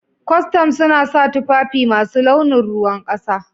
Kwastam suna sa tufafi masu launin ruwan kasa.